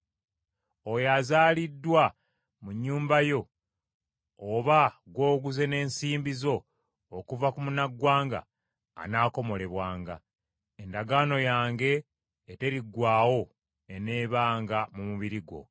oyo azaaliddwa mu nnyumba yo oba gw’oguze n’ensimbi zo okuva ku munnaggwanga anaakomolebwanga. Endagaano yange eteriggwaawo eneebanga mu mubiri gwo.